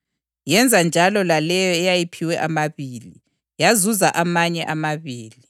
Yenza njalo laleyo eyayiphiwe amabili, yazuza amanye amabili.